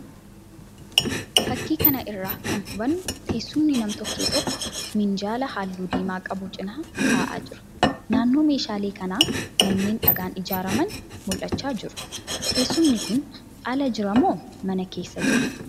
Fakkii kana irraa kan hubannu teessumni nam-tokkee tokko minjaala halluu diimaa qabu cina ta'aa jira. Naannoo meeshaalee kanaa manneen dhagaan ijaaraman mul'achaa jiru. Teessumni kun ala jira moo mana keessa jira?